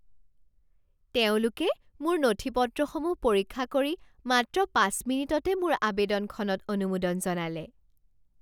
তেওঁলোকে মোৰ নথি পত্ৰসমূহ পৰীক্ষা কৰি মাত্ৰ পাঁচ মিনিটতে মোৰ আৱেদনখনত অনুমোদন জনালে!